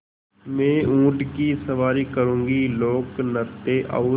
मैं ऊँट की सवारी करूँगी लोकनृत्य और